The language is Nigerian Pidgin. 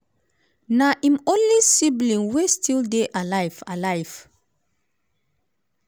im be um di fourth of five of five children e get two brothers - fred jr and um robert - and two sisters maryanne and elizabeth.